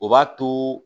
O b'a to